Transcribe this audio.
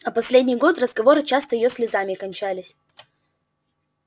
а последний год разговоры часто её слезами кончались